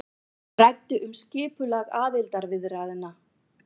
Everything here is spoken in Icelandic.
Ræddu um skipulag aðildarviðræðna